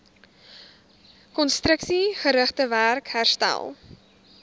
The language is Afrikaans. konstruksiegerigte werk herstel